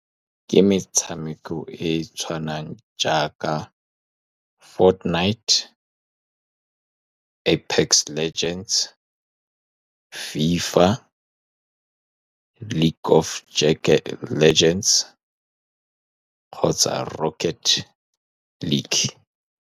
Ke metshameko e e tshwanang jaaka, Fought Night, Apex legends, FIFA, League of Legends, kgotsa Rocket League.